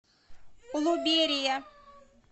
улуберия